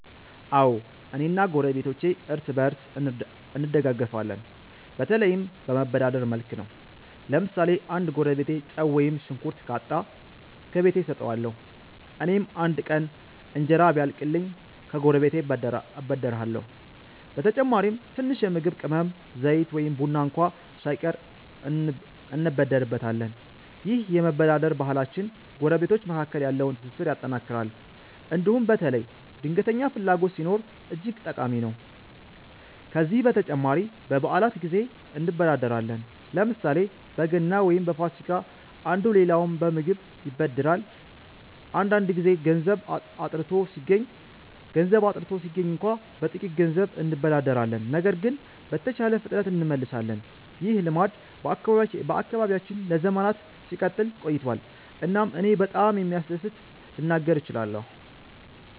አዎ፣ እኔ እና ጎረቤቶቼ እርስ በእርስ እንደጋፈፋለን፤ በተለይም በመበዳደር መልክ ነው። ለምሳሌ አንድ ጎረቤቴ ጨው ወይም ሽንኩርት ካጣ፣ ከቤቴ እሰጠዋለሁ። እኔም አንድ ቀን እንጀራ ቢያልቅኝ ከጎረቤቴ እበደርሃለሁ። በተጨማሪም ትንሽ የምግብ ቅመም፣ ዘይት ወይም ቡና እንኳ ሳይቀር እንበደርበታለን። ይህ የመበዳደር ባህላችን ጎረቤቶች መካከል ያለውን ትስስር ያጠናክራል እንዲሁም በተለይ ድንገተኛ ፍላጎት ሲኖር እጅግ ጠቃሚ ነው። ከዚህ በተጨማሪ በበዓላት ጊዜ እንበዳደራለን፤ ለምሳሌ በገና ወይም በፋሲካ አንዱ ሌላውን በምግብ ይበድራል። አንዳንድ ጊዜ ገንዘብ አጥርቶ ሲገኝ እንኳ በጥቂት ገንዘብ እንበዳደራለን ነገር ግን በተቻለ ፍጥነት እንመልሳለን። ይህ ልማድ በአካባቢያችን ለዘመናት ሲቀጥል ቆይቷል እናም እኔ በጣም እንደሚያስደስት ልናገር እችላለሁ።